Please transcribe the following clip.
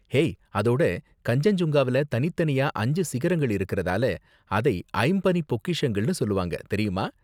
hey, அதோட கன்சென்ஜுங்காவுல தனித்தனியா அஞ்சு சிகரங்கள் இருக்கிறதால அதை ஐம்பனிப் பொக்கிஷங்கள்ன்னு சொல்வாங்க, தெரியுமா